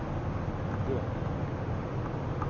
Bø